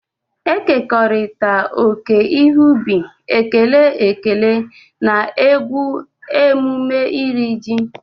Ekekọrịta oke ihe ubi, ekele ekele na egwu emume Iri ji.